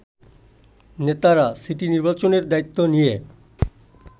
নেতারা সিটি নির্বাচনের দায়িত্ব নিয়ে